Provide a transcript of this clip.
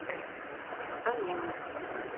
омега